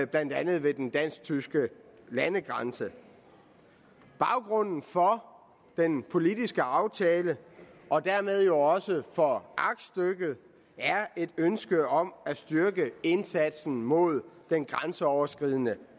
blandt andet ved den dansk tyske landegrænse baggrunden for den politiske aftale og dermed jo også for aktstykket er et ønske om at styrke indsatsen mod den grænseoverskridende